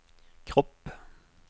kropp